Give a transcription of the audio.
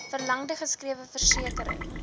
verlangde geskrewe versekering